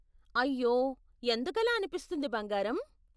అయ్యో, ఎందుకలా అనిపిస్తుంది బంగారం?